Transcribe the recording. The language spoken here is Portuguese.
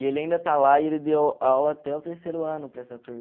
E ele ainda está lá e ele deu aula até o terceiro ano para essa turma.